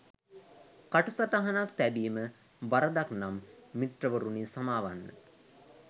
කටු සටහනක් තැබීම වරදක් නම් මිත්‍රවරුනි සමාවන්න